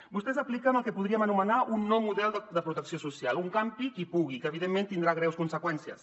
vostès apliquen el que podríem anomenar un nou model de protecció social un campi qui pugui que evidentment tindrà greus conseqüències